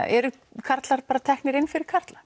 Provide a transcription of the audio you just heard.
eru karlar bara teknir inn fyrir karla